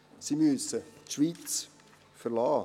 Sie müssen die Schweiz verlassen.